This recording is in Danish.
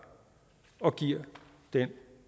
og giver den